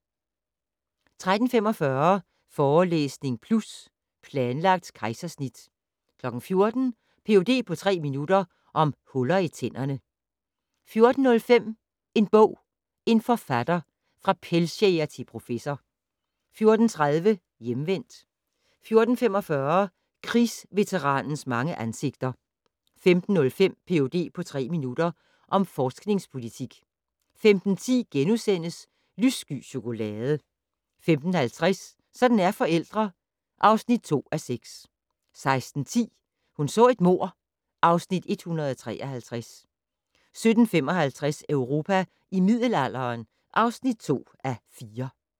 13:45: Forelæsning Plus - Planlagt kejsersnit 14:00: Ph.d. på tre minutter - om huller i tænderne 14:05: En bog, en forfatter - fra pelsjæger til professor 14:30: Hjemvendt 14:45: Krigsveteranens mange ansigter 15:05: Ph.d. på tre minutter - om forskningspolitik 15:10: Lyssky chokolade * 15:50: Sådan er forældre (2:6) 16:10: Hun så et mord (Afs. 153) 17:55: Europa i middelalderen (2:4)